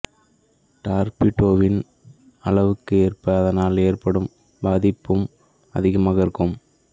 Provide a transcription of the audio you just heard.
டார்பிடோவின் அளவுக்கு ஏற்ப அதனால் ஏற்படும் பாதிப்பும் அதிகமாக இருக்கும்